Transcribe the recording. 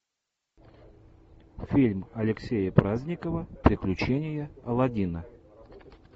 фильм алексея праздникова приключения алладина